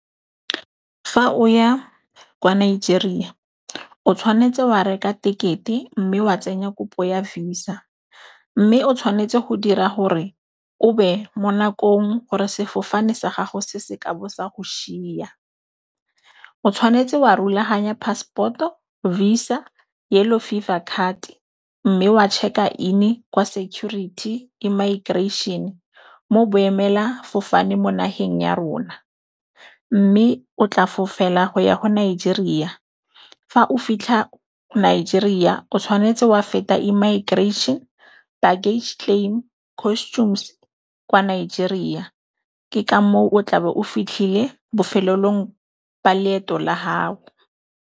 Fa o ya kwa Nigeria, o tshwanetse wa reka tekete mme wa tsenya kopo ya Visa. Mme o tshwanetse go dira gore o be mo nakong gore sefofane sa gago se se ka bo sa go shiya. O tshwanetse wa rulaganya pasepoto, visa, Yellow fever card. Mme wa check-a in kwa security e immigration mo boemelafofane mo nageng ya rona, mme o tla for fela go ya go nigeria fa o fitlha Nigeria. O tshwanetse wa feta immigration baggage claim customs kwa Nigeria. Ke ka moo o tlabe o fitlhile bofelelong ba leeto la hao.